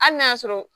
Hali n'a y'a sɔrɔ